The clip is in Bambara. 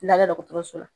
Lada dɔgɔtɔrɔso la